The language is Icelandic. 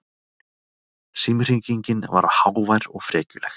Símhringingin var hávær og frekjuleg.